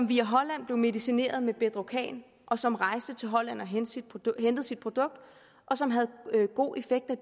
via holland blev medicineret med bedrocan og som rejste til holland og hentede sit produkt og som havde god effekt af